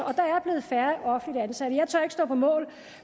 der er blevet færre offentligt ansatte jeg tør ikke stå på mål